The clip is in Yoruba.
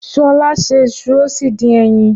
Ṣọlá se iṣu ó sì dín ẹyin.